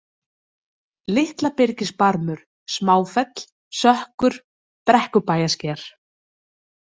Litlabyrgisbarmur, Smáfell, Sökkur, Brekkubæjarsker